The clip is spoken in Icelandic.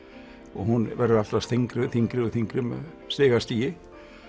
og hún verður alltaf þyngri þyngri og þyngri stig af stigi